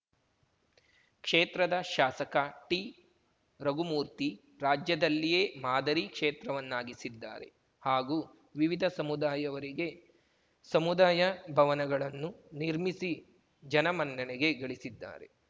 ಕ್ಷೇತ್ರದ ಶಾಸಕ ಟಿ ರಘುಮೂರ್ತಿ ರಾಜ್ಯದಲ್ಲಿಯೇ ಮಾದರಿ ಕ್ಷೇತ್ರವನ್ನಾಗಿಸಿದ್ದಾರೆ ಹಾಗೂ ವಿವಿಧ ಸಮುದಾಯವರಿಗೆ ಸಮುದಾಯ ಭವನಗಳನ್ನು ನಿರ್ಮಿಸಿ ಜನಮನ್ನಣೆಗೆ ಗಳಿಸಿದ್ದಾರೆ